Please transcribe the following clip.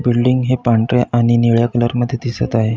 Building हे पांढऱ्या आणि निळ्या कलर मध्ये दिसत आहे.